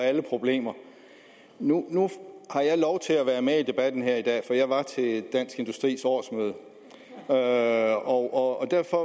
alle problemer nu har jeg lov til at være med i debatten her i dag for jeg var til dansk industris årsmøde og og derfor